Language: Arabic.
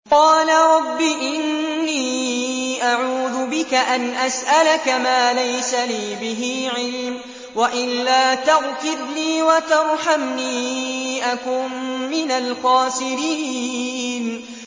قَالَ رَبِّ إِنِّي أَعُوذُ بِكَ أَنْ أَسْأَلَكَ مَا لَيْسَ لِي بِهِ عِلْمٌ ۖ وَإِلَّا تَغْفِرْ لِي وَتَرْحَمْنِي أَكُن مِّنَ الْخَاسِرِينَ